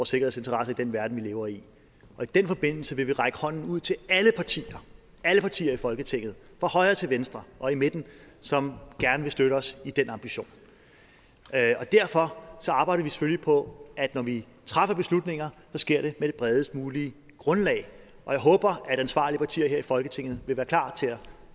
sikkerhedsinteresser i den verden vi lever i og i den forbindelse vil vi række hånden ud til alle partier i folketinget fra højre til venstre og i midten som gerne vil støtte os i den ambition og derfor arbejder vi selvfølgelig på at når vi træffer beslutninger så sker det på det bredest mulige grundlag og jeg håber at ansvarlige partier her i folketinget vil være klar til at